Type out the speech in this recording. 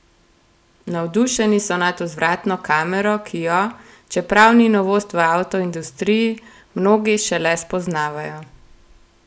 Navdušeni so nad vzvratno kamero, ki jo, čeprav ni novost v avtoindustriji, mnogi šele spoznavajo.